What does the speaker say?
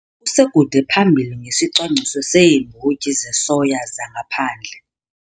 Kusekude phambili ngesicwangciso seembotyi zesoya zangaphandle